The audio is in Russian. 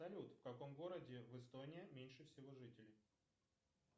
салют в каком городе в эстонии меньше всего жителей